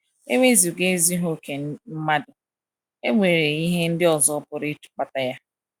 E wezụga ezughị okè mmadụ, e nwere ihe ndị ọzọ pụrụ ịkpata ya.